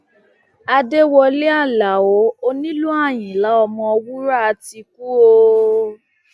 àdẹwọlẹ aláọ onílù àyìnlá ọmọwúrà ti kú o